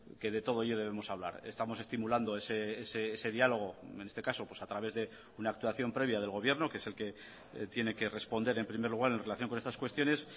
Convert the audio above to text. que de todo ello debemos hablar estamos estimulando ese diálogo en este caso a través de una actuación previa del gobierno que es el que tiene que responder en primer lugar en relación con estas cuestiones